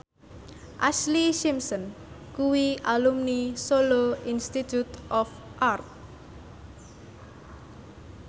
Ashlee Simpson kuwi alumni Solo Institute of Art